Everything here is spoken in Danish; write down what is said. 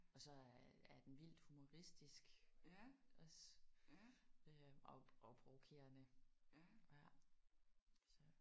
Og så er den vildt humoristisk også øh og og provokerende ja så